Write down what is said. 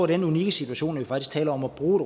den unikke situation at vi faktisk taler om at bruge